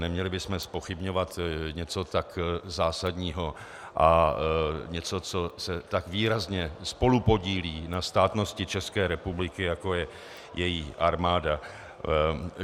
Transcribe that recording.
Neměli bychom zpochybňovat něco tak zásadního a něco, co se tak výrazně spolupodílí na státnosti České republiky, jako je její armáda.